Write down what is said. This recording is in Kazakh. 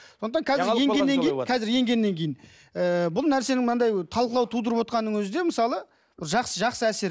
сондықтан қазір енгеннен кейін қазір енгеннен кейін ыыы бұл нәрсенің мынандай талқылау тудырып отырғанының өзі де мысалы жақсы жақсы әсер